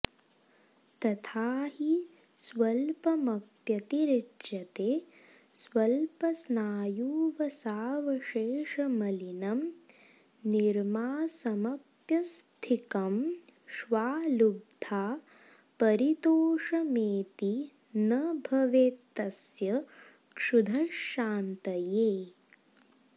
तथा हि स्वल्पमप्यतिरिच्यते स्वल्पस्नायुवसावशेषमलिनं निर्मांसमप्यस्थिकं श्वा लब्ध्वा परितोषमेति न भवेत्तस्य क्षुधः शान्तये